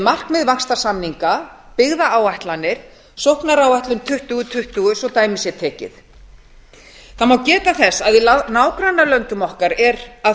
markmið vaxtarsamninga byggðaáætlanir sóknaráætlun tuttugu tuttugu svo dæmi sé tekið það má geta þess að í nágrannalöndum okkar er að